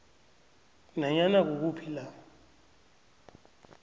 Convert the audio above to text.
nanyana kukuphi la